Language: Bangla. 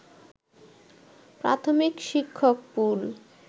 প্রাথমিক শিক্ষক পুল